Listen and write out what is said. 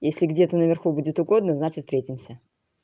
если где то на верху будет угодно значит встретимся